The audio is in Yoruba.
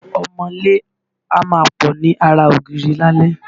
Ọmọọ́lé a máa pọ̀ ni ara ògíri lálé.